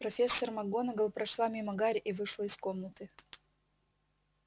профессор макгонагалл прошла мимо гарри и вышла из комнаты